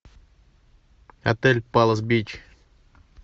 отель палас бич